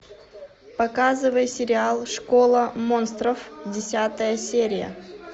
показывай сериал школа монстров десятая серия